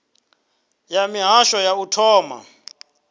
ya mihasho ya u thoma